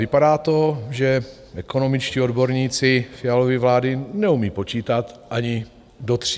Vypadá to, že ekonomičtí odborníci Fialovy vlády neumí počítat ani do tří.